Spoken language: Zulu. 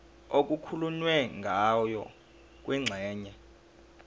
okukhulunywe ngayo kwingxenye